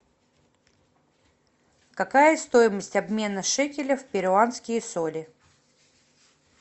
какая стоимость обмена шекеля в перуанские соли